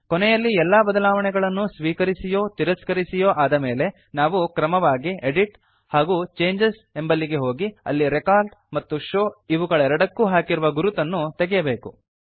ಕೊನೆಯಲ್ಲಿ ಎಲ್ಲ ಬದಲಾವಣೆಗಳನ್ನು ಸ್ವೀಕರಿಸಿಯೋ ತಿರಸ್ಕರಿಸಿಯೋ ಆದಮೇಲೆ ನಾವು ಕ್ರಮವಾಗಿ ಎಡಿಟ್ ಹಾಗೂ ಚೇಂಜಸ್ ಎಂಬಲ್ಲಿಗೆ ಹೋಗಿ ಅಲ್ಲಿ ರೆಕಾರ್ಡ್ ಮತ್ತು ಶೋವ್ ಇವುಗಳೆರಡಕ್ಕೂ ಹಾಕಿರುವ ಗುರುತುಗಳನ್ನು ತೆಗೆಯಬೇಕು